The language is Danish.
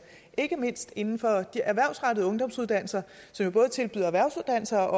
ikke mindst inden for de erhvervsrettede ungdomsuddannelser som både tilbyder erhvervsuddannelser